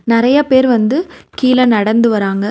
நறைய பேர் வந்து கீழ நடந்து வராங்க.